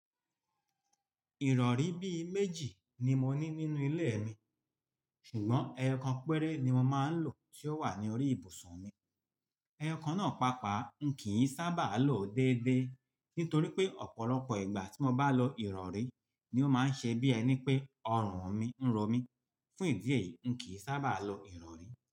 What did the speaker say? Ìrọ̀rí bí i méjì ni mo ní nínú ilé mi, ṣùgbọ́n ẹyọkan péré ni mo máa ń lò tí ó wà ní orí ibùsùn mi. Ẹyọkan náà pàápàá n kì í sábà lo déédéé nítorí pé ọ̀pọ̀lọpọ̀ ìgbà tí mo bá lo ìrọ̀rí ni ó máa ń ṣe bí ẹni pé ọrùn mi ń ro mí. Fún ìdí èyí, n kì í sábà lo ìrọ̀rí.